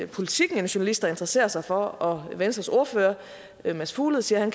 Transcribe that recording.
politiken en journalist der interesserer sig for og venstres ordfører mads fuglede siger at